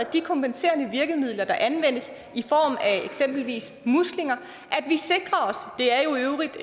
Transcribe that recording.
de kompenserende virkemidler der anvendes i form af eksempelvis muslinger det er jo i øvrigt